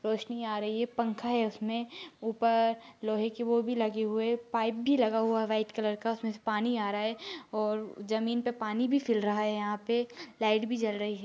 रौशनी आ रही हैं पंखा हैं उसमे ऊपर लोहे के वो भी लगे हुए हैं पाइप भी लगा हुआ हैं वाइट कलर का पानी आ रहा हैं और जमीन पर पानी भी फ़ैल रहा हैं यहाँ पे लाइट भी जल रही हैं।